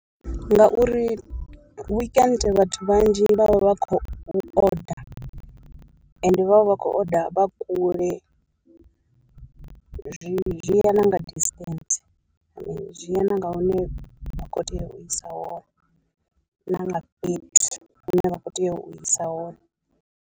Ngauri weekend vhathu vhanzhi vha vha vha khou order, ende vhavha vha khou order vha kule, zwi zwi ya nga distance, zwi ya na nga hune vha kho tea u isa hone, na nga fhethu hune vha kho tea u isa hone.